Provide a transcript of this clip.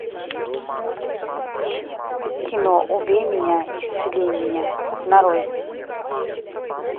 кино убей меня исцели меня нарой